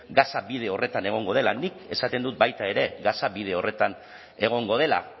gasa bide horretan egongo dela nik esaten dut baita ere gasa bide horretan egongo dela